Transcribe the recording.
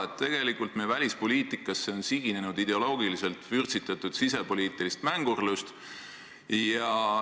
Me oleme näinud, et meie välispoliitikasse on siginenud ideoloogiliselt vürtsitatud sisepoliitilist mängurlust.